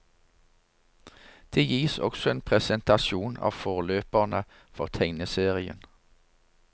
Det gis også en presentasjon av forløperne for tegneserien.